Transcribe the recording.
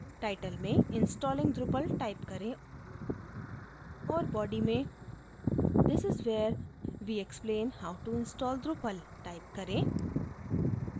title में installing drupal type करें और body में this is where we explain how to install drupal type करें